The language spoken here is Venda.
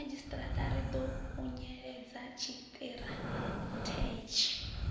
vhomadzhisiṱiraṱa ri ḓo khunyeledza tshiṱirathedzhi